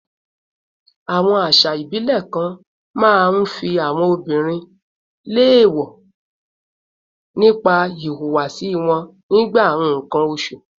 Àwọn àṣà ìbílẹ̀ kan máa ń fi àwọn obìnrin léèwọ̀ nípa ìhùwàsí wọn nígbà nǹkan oṣù